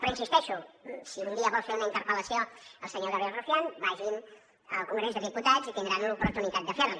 però hi insisteixo si un dia vol fer una interpel·lació al senyor gabriel rufián vagin al congrés dels diputats i tindran l’oportunitat de fer l’hi